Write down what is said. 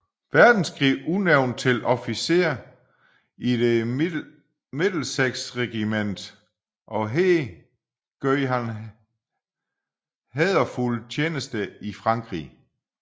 Verdenskrig udnævnt til officer i The Middlesex Regiment og her gjorde han hæderfuld tjeneste i Frankrig